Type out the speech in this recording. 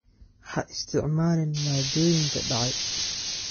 Ha isticmaalin maaddooyinka dhacay.